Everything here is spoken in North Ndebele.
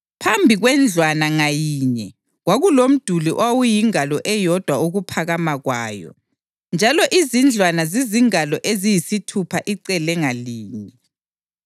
Phambi kwendlwana ngayinye kwakulomduli owawuyingalo eyodwa ukuphakama kwawo, njalo izindlwana zizingalo eziyisithupha icele ngalinye.